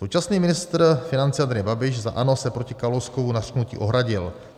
Současný ministr financí Andrej Babiš za ANO se proti Kalouskovu nařknutí ohradil.